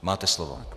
Máte slovo.